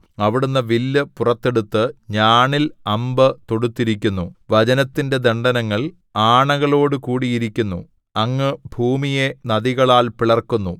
അവിടുന്ന് വില്ല് പുറത്തെടുത്ത് ഞാണിൽ അമ്പ് തൊടുത്തിരിക്കുന്നു വചനത്തിന്റെ ദണ്ഡനങ്ങൾ ആണകളോടുകൂടിയിരിക്കുന്നു സേലാ അങ്ങ് ഭൂമിയെ നദികളാൽ പിളർക്കുന്നു